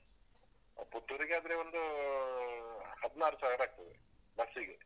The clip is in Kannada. ಪುತ್ತೂರಿಗಾದ್ರೆ ಒಂದು ಹದ್ನಾರು ಸಾವಿರ ಆಗ್ತದೆ, ಬಸ್ಸಿಗೆ.